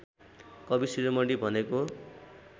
कवि शिरोमणि भनेको